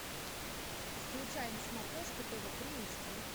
включай на смотрешке тв три эйч ди